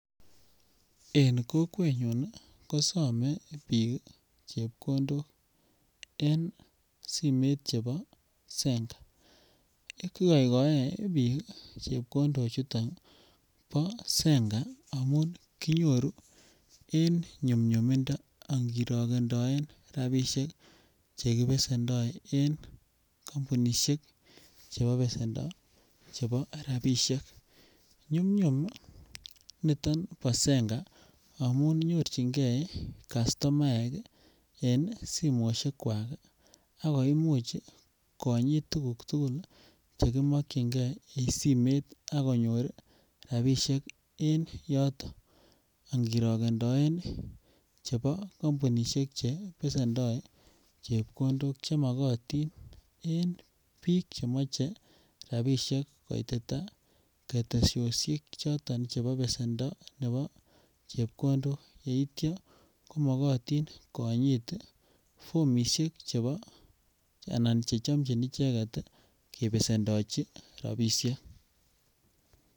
En kokwenyun ko same biik chepkondok en simoit chebo zenka. Igoigoe biik chepkondo chuton bo zenka amun kinyoru en nyunyumindo angirokendoen rapisiek che kibesendo en kampunisiek chebo besendo chebo rapisiek. Nyumnyum niton bo zenka amun nyorchinge kastomaek en simoisiek kwak ak koimuch konyit tuguk tugul chekimakyinge en simet ak konyor rapisiek en yoto angirokendoen chebo kampunisiek chebesendo chepkondok chemagotin en biik chemoche rapisiek koitita ketesiosiek choto chebo besendo nebo chepkondok. Yeitya komogotin konyit formisiek anan che chomchin icheget kebesondochi rapisiek